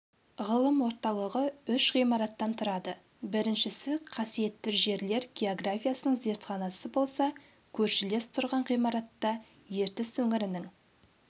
ғылым орталығы үш ғимараттан тұрады біріншісі қасиетті жерлер географиясының зертханасы болса көршілес тұрған ғимаратта ертіс өңірінің